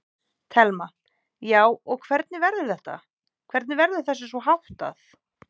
Telma: Já, og hvernig verður þetta, hvernig verður þessu svona háttað?